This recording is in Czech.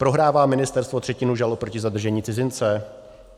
Prohrává ministerstvo třetinu žalob proti zadržení cizince?